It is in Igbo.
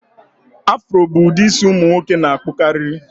Afro bụ ụdị isi ụmụ nwoke na-akpụkarị